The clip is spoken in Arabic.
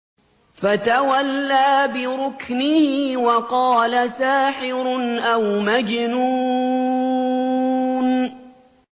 فَتَوَلَّىٰ بِرُكْنِهِ وَقَالَ سَاحِرٌ أَوْ مَجْنُونٌ